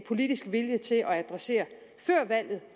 politisk vilje til at adressere før valget